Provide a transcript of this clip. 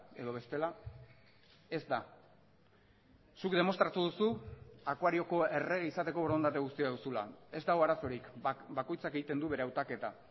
edo bestela ez da zuk demostratu duzu akuarioko errege izateko borondate guztia duzula ez dago arazorik bakoitzak egiten du bere hautaketa